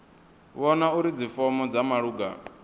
vhona uri dzifomo dza malugana